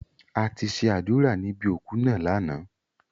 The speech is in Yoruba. A ti ṣe àdúrà níbi òku náà lánàá.